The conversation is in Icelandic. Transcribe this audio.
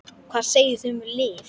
Hvað segið þið um lyf?